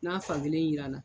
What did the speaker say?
N'a fakelen yiran na